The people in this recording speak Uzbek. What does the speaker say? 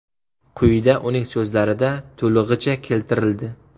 Quyida uning so‘zlarida to‘lig‘icha keltirildi.